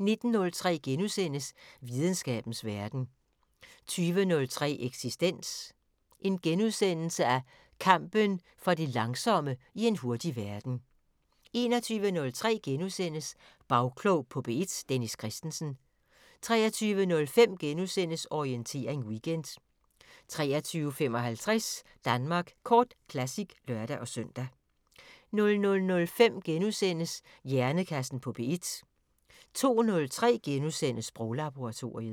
19:03: Videnskabens Verden * 20:03: Eksistens: Kampen for det langsomme i en hurtig verden * 21:03: Bagklog på P1: Dennis Kristensen * 23:05: Orientering Weekend * 23:55: Danmark Kort Classic (lør-søn) 00:05: Hjernekassen på P1 * 02:03: Sproglaboratoriet *